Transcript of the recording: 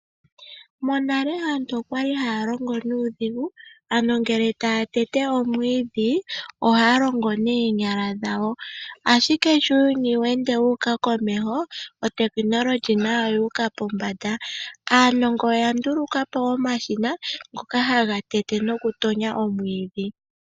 Monale aantu oya li haa longo nuudhigu, ngele taa tete omwiidhi oya li haa longitha oonyala dhawo. Ashike sho uuyuni wuuka komeho ehumokomeho nalyo olyu uka pombanda. Aanongo oya ndulukapo omashina ngoka haga tete noku tonya omwiidhi.